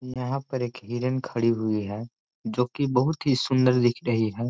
यहाँ पर एक हिरण खड़ी हुई है जोकि बहुत ही सुन्दर दिख रही है।